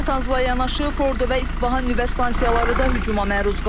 Natanzla yanaşı Fordo və İsfahan nüvə stansiyaları da hücuma məruz qalıb.